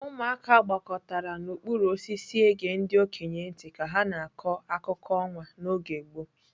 Ụmụaka gbakọtara n'okpuru osisi ege ndi okenye ntị ka ha na-akọ akụkọ ọnwa n'oge gboo.